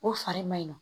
O fari ma ɲi nɔ